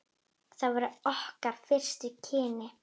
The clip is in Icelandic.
Það voru okkar fyrstu kynni.